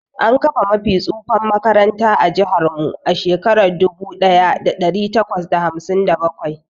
An kafa mafi tsufan makaranta ã jihar mu a Shekara dubu daya dari takwas da hamsin da bakwai.